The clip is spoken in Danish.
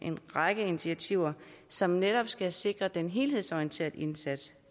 række initiativer som netop skal sikre den helhedsorienterede indsats